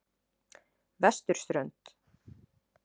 Vesturströnd